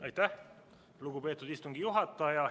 Aitäh, lugupeetud istungi juhataja!